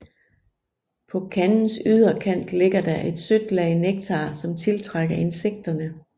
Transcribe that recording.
På kandens yderkant ligger der et sødt lag nektar som tiltrækker insekterne